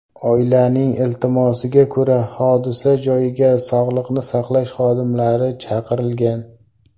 Oilaning iltimosiga ko‘ra, hodisa joyiga sog‘liqni saqlash xodimlari chaqirilgan.